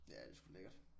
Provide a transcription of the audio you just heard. Ja det er sgu lækkert